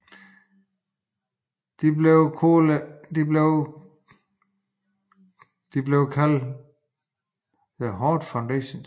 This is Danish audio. De blev kaldt The Hart Foundation